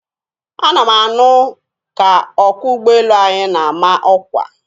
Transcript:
Ana m anụ ka ọkwọ ugboelu anyị na-ama ọkwa.